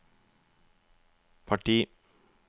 parti